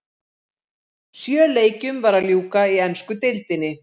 Sjö leikjum var að ljúka í ensku deildinni.